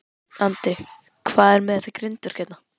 Andri: Hvað er með þetta grindverk hérna?